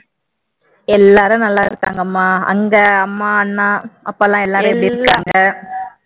எல்லாரும் நல்லா இருக்காங்கம்மா அங்க அம்மா அங்க அம்மா அண்ணா அப்பாலாம் எல்லாரும் எப்படி இருக்காங்க?